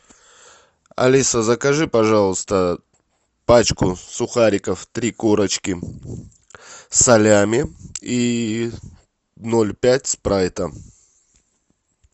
алиса закажи пожалуйста пачку сухариков три корочки салями и ноль пять спрайта